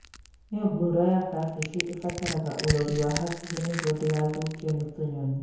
Mĩũngũrwa ya kambĩji ĩbataraga ũrori wa hakuhĩ nĩguo ndĩgathũkio nĩ tũnyonĩ